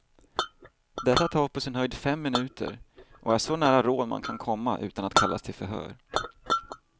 Detta tar på sin höjd fem minuter och är så nära rån man kan komma utan att kallas till förhör.